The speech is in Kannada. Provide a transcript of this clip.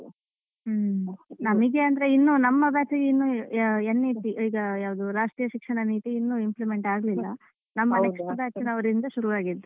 ನಮಗೆ ಅಂದ್ರೆ ಇನ್ನು ನಮ್ಮ batch ಗೆ ಇನ್ನು NEC ಯಾವುದು ನಮ್ಮ ರಾಷ್ಟ್ರೀಯ ಶಿಕ್ಷಣ ನೀತಿ ಇನ್ನು implement ಆಗ್ಲಿಲ್ಲ ನಮ್ಮ next batch ನವರಿಂದ ಶುರು ಆಗಿದ್ದು.